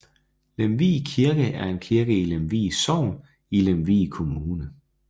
Lemvig Kirke er en kirke i Lemvig Sogn i Lemvig Kommune